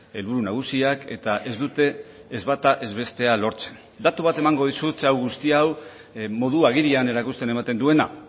helburu nagusiak eta ez dute ez bata ez bestea lortzen datu bat emango dizut guzti hau modu agirian erakusten ematen duena